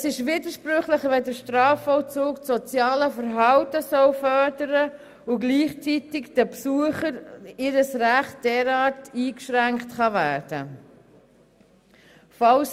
Es ist widersprüchlich, wenn der Strafvollzug einerseits das soziale Verhalten fördern soll, gleichzeitig aber in Bezug auf die Besucher das Recht derart eingeschränkt werden kann.